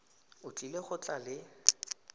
o tlile go tla le